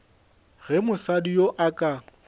ge mosadi yoo a ka